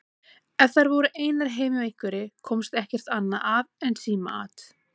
Ef þær voru einar heima hjá einhverri komst ekkert annað að en símaat.